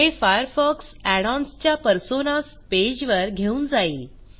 हे Firefox add ons च्या personas page वर घेऊन जाईल